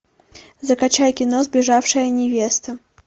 закачай кино сбежавшая невеста